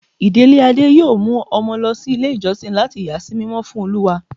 ìdílé Ade yóò mu Omo lo ilé ijosìn latí yà sí mímọ́ fún Olúwa.